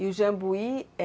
E o jambuí é?